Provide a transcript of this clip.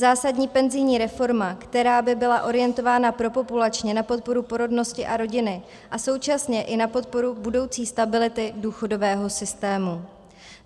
Zásadní penzijní reforma, která by byla orientována propopulačně na podporu porodnosti a rodiny a současně i na podporu budoucí stability důchodového systému.